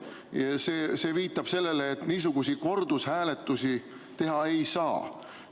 Ja see viitab sellele, et niisuguseid kordushääletusi teha ei tohi saada.